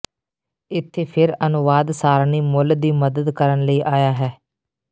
ਇਥੇ ਫਿਰ ਅਨੁਵਾਦ ਸਾਰਣੀ ਮੁੱਲ ਦੀ ਮਦਦ ਕਰਨ ਲਈ ਆਇਆ ਹੈ